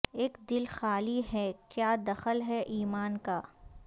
اک دل خالی ہیں کیا دخل ہے ایمان کا